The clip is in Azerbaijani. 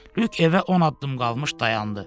Lük evə 10 addım qalmış dayandı.